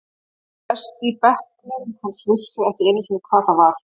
Flestir í bekknum hans vissu ekki einu sinni hvað það var.